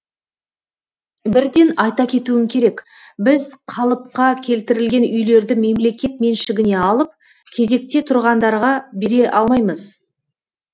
бірден айта кетуім керек біз қалыпқа келтірілген үйлерді мемлекет меншігіне алып кезекте тұрғандарға бере алмаймыз